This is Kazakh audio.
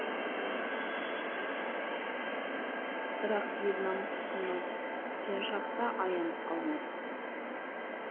бірақ ел намысы сынға түскен шақта аянып қалмадық